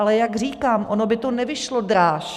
Ale jak říkám, ono by to nevyšlo dráž.